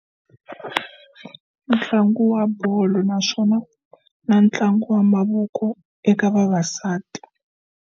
Ntlangu wa bolo naswona na ntlangu wa mavoko eka vavasati.